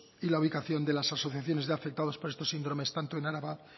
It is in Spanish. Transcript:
y la ubicación de las asociaciones de afectados por estos síndromes tanto en álava